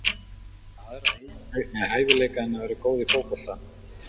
Hefurðu einhverja aðra hæfileika en að vera góð í fótbolta?